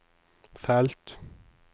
felt